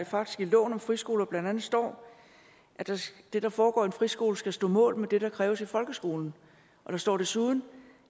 faktisk i loven om friskoler blandt andet står at det der foregår i en friskole skal stå mål med det der kræves i folkeskolen og der står desuden